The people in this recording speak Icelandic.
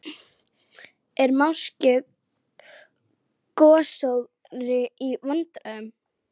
Er máske gosórói í vændum?